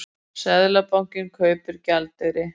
Seðlabankinn kaupir gjaldeyri